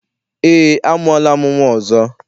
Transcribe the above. Eé, amụọla m nnwa ọzọ.